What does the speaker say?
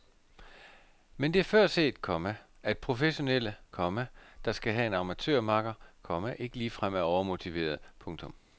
Men det er før set, komma at professionelle, komma der skal have en amatørmakker, komma ikke ligefrem er overmotiverede. punktum